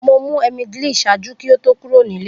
Mo mu emgyl ṣaaju ki o to kuro ni ile.